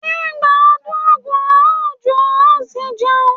Nígbà ọdún Ògún a ó jó a ó sì jẹun.